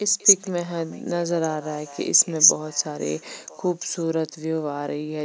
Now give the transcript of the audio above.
इस पीक में हम नज़र आ रहा है कि इसमें बहोत सारे खूबसूरत व्यू आ रही है।